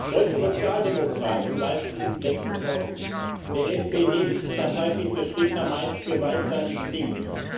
Deutsche Sozialdemokraten leisten diesem Denken Vorschub Der SPD Parteivize Stegner meint, Gewalt sei nicht links.